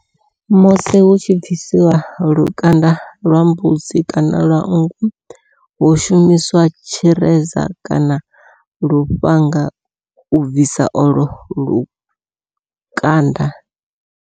Musi hu tshi bvisiwa lukanda lwa mbudzi kana nngu hu shumiswa tshireza kana lufhanga u bvisa olo lukanda.